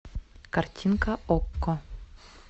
картинка окко